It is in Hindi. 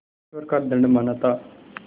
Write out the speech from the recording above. ईश्वर का दंड माना था